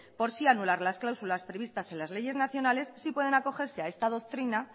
por sí anular las cláusulas previstas en las leyes nacionales sí pueden acogerse a esta doctrina